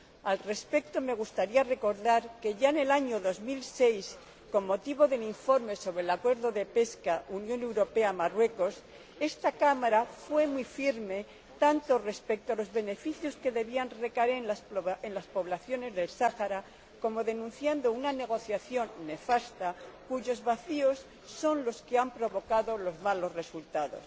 Al respecto, me gustaría recordar que ya en el año 2006, con motivo de mi informe sobre el Acuerdo de pesca Unión Europea Marruecos, esta Cámara fue muy firme tanto respecto a los beneficios que debían recaer en las poblaciones del Sáhara como denunciando una negociación nefasta cuyos vacíos son los que han provocado los malos resultados.